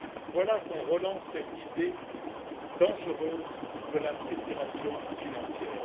Voilà qu'on relance cette idée dangereuse de la titrisation financière.